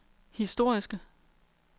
historiske